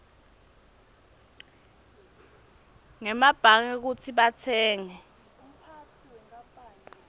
ngemabhange kutsi batsenge